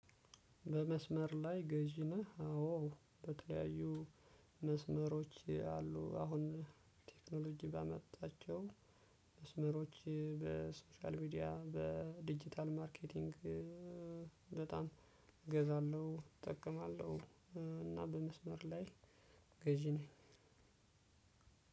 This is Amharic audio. በመስመር ላይ ገዢ ነህ አዎ በተለያዩ መስመሮች አሉ አሁን ቴክኖሎጂ ባመጣቸው መስመሮች በሶሻል ሚዲያ በዲጂታል ማርኬቲንግ እ በጣም እገዛለሁ እጠቀማለሁ እና በመስመር ላይ ገዢ ነኝ።